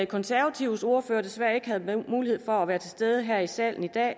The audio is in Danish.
konservatives ordfører desværre ikke havde mulighed for at være til stede her i salen i dag